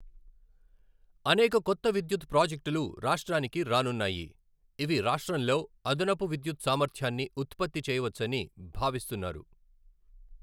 అనేక కొత్త విద్యుత్ ప్రాజెక్టులు రాష్ట్రానికి రానున్నాయి, ఇవి రాష్ట్రంలో అదనపు విద్యుత్ సామర్థ్యాన్ని ఉత్పత్తి చేయవచ్చని భావిస్తున్నారు.